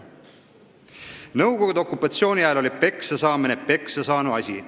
Nõukogude okupatsiooni ajal oli peksasaamine peksasaanu asi.